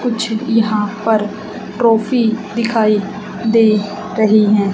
कुछ यहां पर ट्रॉफी दिखाएं दे रही है।